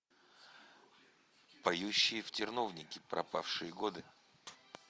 поющие в терновнике пропавшие годы